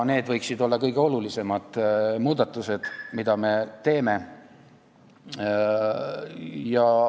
Need võiksid olla kõige olulisemad muudatused, mida me teeme.